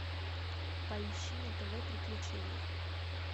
поищи на тв приключения